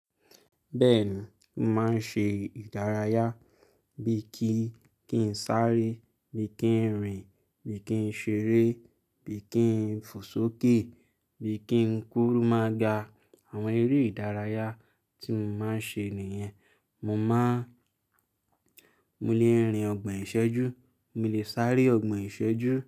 Bẹ́ẹ̀ni, mo máa ń ṣe ìdárayá bí i kí n sáré, bí i kí n rìn, bí i kí n ṣeré, bí i kí n fòsókè, bí i kí n kúru máa ga. Àwọn eré ìdárayá tí mo máa ń ṣe nìyẹn. Mo máa mo lè rìn ọgbọ̀n ìṣẹ́jú, mo lè sáré ọgbọ̀n ìṣẹ́jú.